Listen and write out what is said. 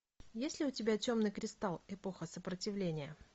есть ли у тебя темный кристалл эпоха сопротивления